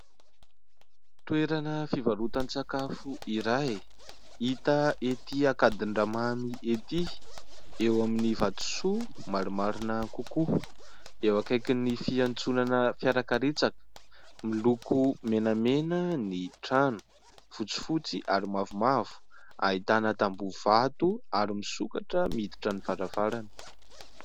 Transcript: Toerana fivarotan-tsakafo iray hita ety Akadindramamy ety eo amin'ny vatosoa maro marina kokoa eo ankaiky ny fiantsonana fiarakaretsaka miloko menamena ny trano fotsifotsy ary mavomavo ahitana tambovato ary misokatra miditra ny varavarana.